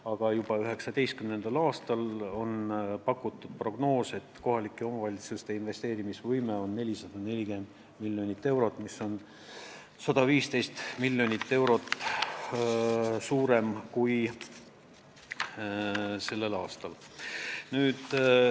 Aga juba 2019. aastal on kohalike omavalitsuste investeerimise võime pakutud prognoosi järgi 440 miljonit eurot, mis on 115 miljonit eurot rohkem kui sellel aastal.